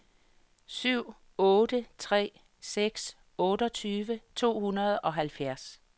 syv otte tre seks otteogtyve to hundrede og halvfjerds